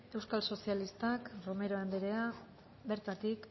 euskal sozialistak romero andrea bertatik